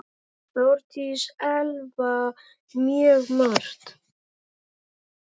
Þórdís Elva: Mjög margt.